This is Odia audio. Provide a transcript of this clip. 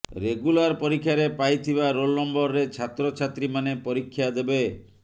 ରେଗୁଲାର ପରୀକ୍ଷାରେ ପାଇଥିବା ରୋଲ ନମ୍ବରରେ ଛାତ୍ରଛାତ୍ରୀମାନେ ପରୀକ୍ଷା ଦେବେ